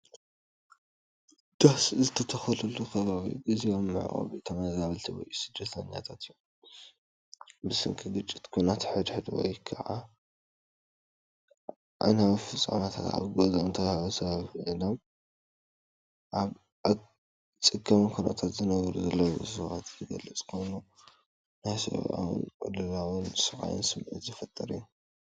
ዳስ ዝተተኽለሉ ከባቢ ፣ ግዝያዊ መዕቆቢ ተመዛበልቲ ወይ ስደተኛታት እዩ። ብሰንኪ ግጭት፡ ኲናት ሓድሕድ፡ ወይ ካልእ ኣዕናዊ ፍጻመታት ካብ ገዝኦም ተመዛቢሎም ኣብ ኣጸጋሚ ኩነታት ዝነብሩ ሰባት ዝገልጽ ኮይኑ፡ ናይ ሰብኣዊ ቅልውላውን ስቓይን ስምዒት ዝፈጥር እዩ።